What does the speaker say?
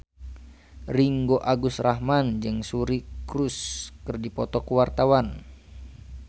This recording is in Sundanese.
Ringgo Agus Rahman jeung Suri Cruise keur dipoto ku wartawan